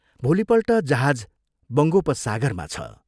भोलिपल्ट जहाज बङ्गोपसागरंमा छ।